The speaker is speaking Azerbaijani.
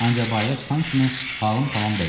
Ancaq bayıra çıxan kimi halım tamam dəyişdi.